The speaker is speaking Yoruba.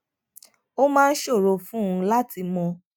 ó máa ń ṣòro fún un láti mọ